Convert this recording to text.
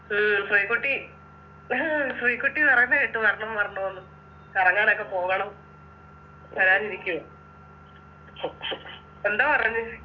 ഉം ശ്രീക്കുട്ടി ശ്രീക്കുട്ടി പറയുന്ന കേട്ടു വരണം വരണോന്ന് കറങ്ങാനൊക്കെ പോകണം ഞാനിരിക്കും എന്താ പറഞ്ഞ്